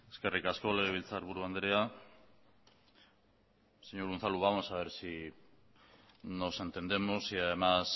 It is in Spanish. eskerrik asko legebiltzarburu andrea señor unzalu vamos a ver si nos entendemos y además